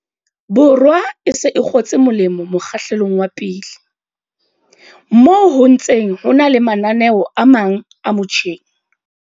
Borwa e se e kgotse molemo mokgahlelong wa pele, moo ho ntseng ho na le mananeo a mang a mo tjheng.